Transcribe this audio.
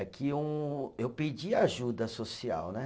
É que um, eu pedi ajuda social, né?